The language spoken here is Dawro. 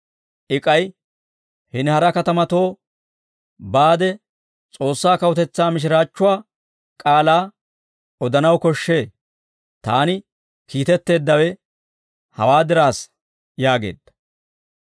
I k'ay, «Hini hara katamatoo baade S'oossaa Kawutetsaa mishiraachchuwaa K'aalaa odanaw koshshee; taani kiitetteeddawe hawaa diraassa» yaageedda.